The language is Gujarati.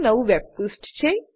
નું વેબ પુષ્ઠ છે